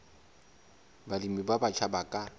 balemi ba batjha ba ka